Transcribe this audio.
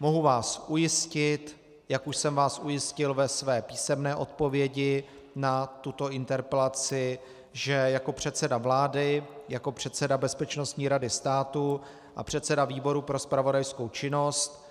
Mohu vás ujistit, jak už jsem vás ujistil ve své písemné odpovědi na tuto interpelaci, že jako předseda vlády, jako předseda Bezpečnostní rady státu a předseda výboru pro zpravodajskou činnost